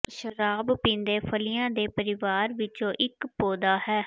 ਸ਼ਰਾਬ ਪੀਂਦੇ ਫਲੀਆਂ ਦੇ ਪਰਿਵਾਰ ਵਿੱਚੋਂ ਇੱਕ ਪੌਦਾ ਹੈ